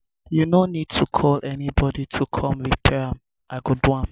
you no need to call anybody to come repair am i go do am